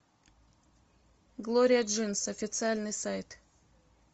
глория джинс официальный сайт